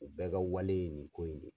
U bɛ ka wale ye nin ko in de ye.